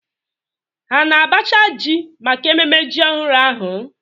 Ha na-abacha ji maka ememme ji ọhụrụ ahụ?